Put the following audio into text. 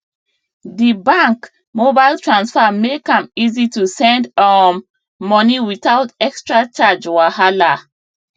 di bank mobile transfer make am easy to send um money without extra charge wahala